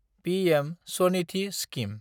PM Svanidhi scheme